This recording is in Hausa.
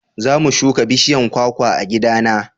za mu shuka bishiyan kwakwa a gida na